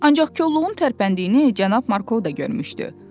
Ancaq kolluğun tərpəndiyini Cənab Markov da görmüşdü.